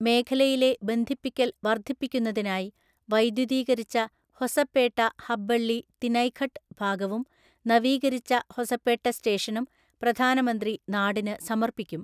മേഖലയിലെ ബന്ധിപ്പിക്കല്‍ വർദ്ധിപ്പിക്കുന്നതിനായി വൈദ്യുതീകരിച്ച ഹൊസപേട്ട ഹബ്ബള്ളി തിനൈഘട്ട് ഭാഗവും നവീകരിച്ച ഹൊസപേട്ട സ്റ്റേഷനും പ്രധാനമന്ത്രി നാടിന് സമർപ്പിക്കും.